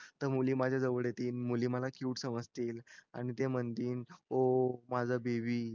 त मुली माझ्या जवळ येतील मुली मला क्युट समजतील आणि ते म्हणतील ओ माझा बेबी